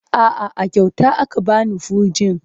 A'a, a kyauta aka ba ni fegin.